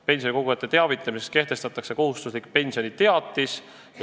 Pensionikogujate teavitamiseks kehtestatakse kohustuslik pensioniteatis.